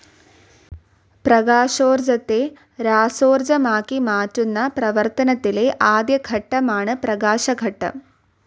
പ്രകാശോർജ്ജത്തെ രാസോർജ്ജമാക്കി മാറ്റുന്ന പ്രവർത്തനത്തിലെ ആദ്യ ഘട്ടമാണ് പ്രകാശഘട്ടം.